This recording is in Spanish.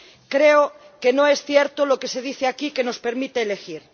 Creo que no es cierto lo que se dice aquí, que nos permite elegir.